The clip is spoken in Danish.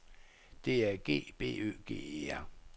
D A G B Ø G E R